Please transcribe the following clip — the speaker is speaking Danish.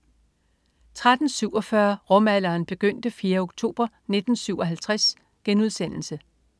13.47 Rumalderen begyndte 4. oktober 1957*